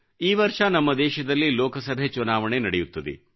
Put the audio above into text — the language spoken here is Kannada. ಈ ವರ್ಷ ನಮ್ಮ ದೇಶದಲ್ಲಿ ಲೋಕಸಭೆ ಚುನಾವಣೆ ನಡೆಯುತ್ತದೆ